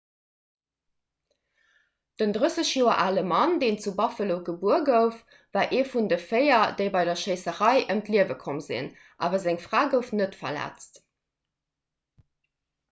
den 30 joer ale mann deen zu buffalo gebuer gouf war ee vun de véier déi bei der schéisserei ëm d'liewe komm sinn awer seng fra gouf net verletzt